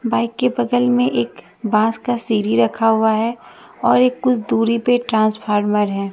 Bike के बगल में एक बास का सीडी रखा हुआ है और एक कुछ दूरी पे ट्रांसफार्मर है।